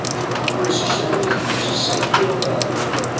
Agnes og Svenni fá sér sæti hjá krökkunum.